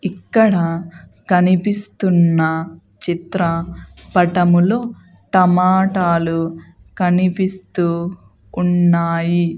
ఇక్కడ కనిపిస్తున్న చిత్ర పటములో టమాటా లు కనిపిస్తూ ఉన్నాయి.